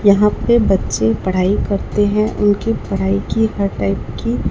यहां पे बच्चे पढ़ाई करते हैं उनकी पढ़ाई की हर टाइप की--